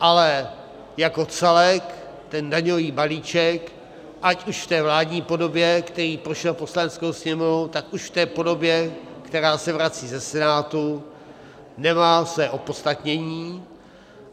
Ale jako celek ten daňový balíček, ať už v té vládní podobě, který prošel Poslaneckou sněmovnou, tak už v té podobě, která se vrací ze Senátu, nemá své opodstatnění.